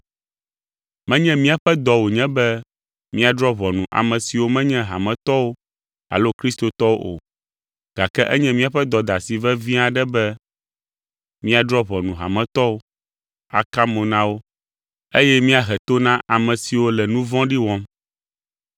Menye míaƒe dɔ wònye be míadrɔ̃ ʋɔnu ame siwo menye hametɔwo alo kristotɔwo o, gake enye míaƒe dɔdeasi vevi aɖe be míadrɔ̃ ʋɔnu hametɔwo, aka mo na wo, eye míahe to na ame siwo le nu vɔ̃ɖi wɔm.